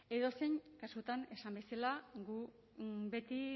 edozein kasutan esan bezala gu beti